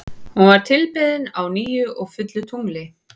Hún var tilbeðin á nýju og fullu tungli.